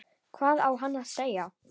Hvað á hann að segja?